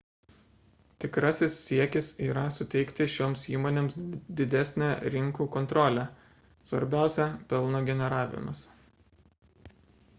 tikrasis siekis yra suteikti šioms įmonėms didesnę rinkų kontrolę svarbiausia – pelno generavimas